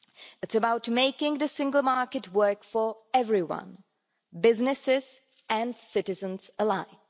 It is about making the single market work for everyone businesses and citizens alike.